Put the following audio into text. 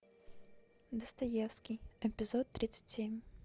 достоевский эпизод тридцать семь